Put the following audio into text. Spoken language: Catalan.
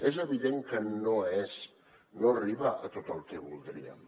és evident que no és no arriba a tot el que voldríem